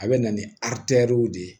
A bɛ na ni w de ye